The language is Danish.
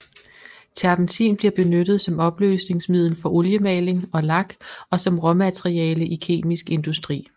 Terpentin bliver benyttet som opløsningsmiddel for oliemaling og lak og som råmateriale i kemisk industri